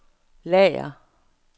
lager